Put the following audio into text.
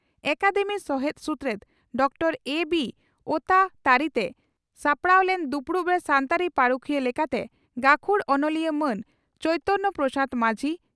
academy ᱥᱚᱦᱮᱛ ᱥᱩᱛᱨᱮᱛ doctor ᱮᱹᱵᱤᱹ ᱳᱛᱟ ᱛᱟᱹᱨᱤᱨᱮ ᱥᱟᱯᱲᱟᱣ ᱞᱮᱱ ᱫᱩᱯᱲᱩᱵᱨᱮ ᱥᱟᱱᱛᱟᱲᱤ ᱯᱟᱹᱨᱩᱠᱷᱤᱭᱟᱹ ᱞᱮᱠᱟᱛᱮ ᱜᱟᱹᱠᱷᱩᱲ ᱚᱱᱚᱞᱤᱭᱟᱹ ᱢᱟᱱ ᱪᱚᱭᱛᱚᱱᱯᱨᱚᱥᱟᱫᱽ ᱢᱟᱹᱡᱷᱤ